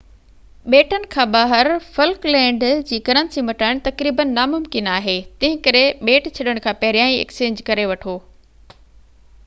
ٻيٽن کان ٻاهر فلڪ لينڊ جي ڪرنسي مٽائڻ تقريبن ناممڪن آهي تنهن ڪري ٻيٽ ڇڏڻ کان پهريان ايڪسچينج ڪري وٺو